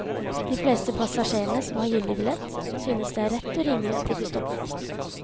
De fleste passasjerene som har gyldig billett, synes det er rett og rimelig at de blir stoppet.